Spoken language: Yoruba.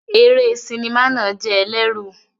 Eré sinimá náà jẹ́ ẹlẹ́rù.